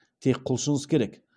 тек құлшыныс керек